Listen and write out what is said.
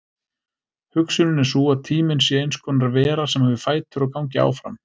Hugsunin er sú að tíminn sé eins konar vera sem hafi fætur og gangi áfram.